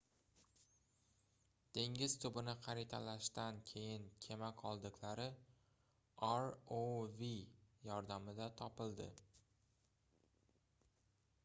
dengiz tubini xaritalashdan keyin kema qoldiqlari rov yordamida topildi